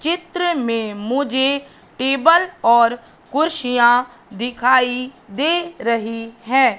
चित्र में मुझे टेबल और कुर्सियां दिखाई दे रही है।